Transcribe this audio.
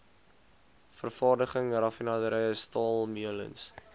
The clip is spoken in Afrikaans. vervaardiging raffinaderye staalmeulens